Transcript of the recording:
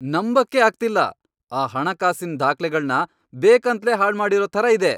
ನಂಬಕ್ಕೇ ಆಗ್ತಿಲ್ಲ! ಆ ಹಣಕಾಸಿನ್ ದಾಖ್ಲೆಗಳ್ನ ಬೇಕಂತ್ಲೇ ಹಾಳ್ಮಾಡಿರೋ ಥರ ಇದೆ!